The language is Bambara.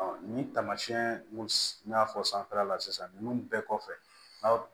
nin taamasiyɛn n'a fɔ sanfɛla la sisan ninnu bɛɛ kɔfɛ